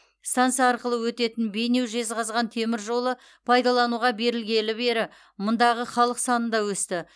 станса арқылы өтетін бейнеу жезқазған темір жолы пайдалануға берілгелі бері мұндағы халық саны да өсті